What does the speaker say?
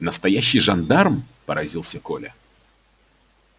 настоящий жандарм поразился коля